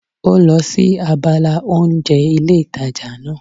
Ó lọ sí abala oúnjẹ ilé ìtajà náà